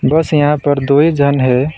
बस यहां पर दो ही जन है।